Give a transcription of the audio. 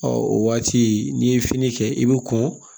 o waati n'i ye fini kɛ i bɛ kɔn